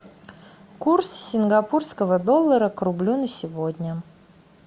курс сингапурского доллара к рублю на сегодня